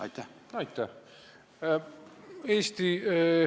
Aitäh!